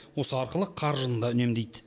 осы арқылы қаржыны да үнемдейді